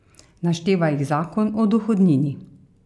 Našteva jih zakon o dohodnini.